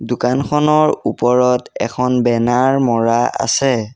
দোকানখনৰ ওপৰত এখন বেনাৰ মৰা আছে।